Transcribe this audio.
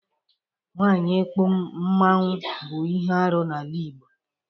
Nwaanyị íkpù Mmanwu bụ ihe arụ n'ala Igbo.